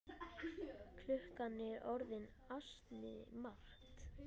Klukkan er orðin ansi margt.